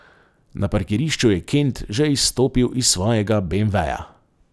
Na parkirišču je Kent že izstopil iz svojega beemveja.